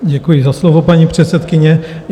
Děkuji za slovo, paní předsedkyně.